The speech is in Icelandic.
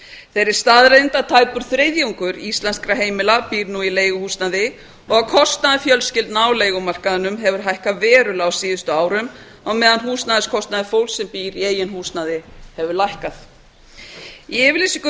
þeirri staðreynd að tæpur þriðjungur íslenskra heimila býr nú í leiguhúsnæði og að kostnaður fjölskyldna á leigumarkaðinum hefur hækkað verulega á síðustu árum á meðan húsnæðiskostnaður fólks sem býr í eigin húsnæði hefur lækkað í yfirlýsingu